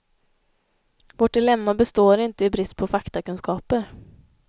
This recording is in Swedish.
Vårt dilemma består inte i brist påfaktakunskaper.